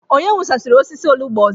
Onye wụsasịrị osisi olugbu ọzọ?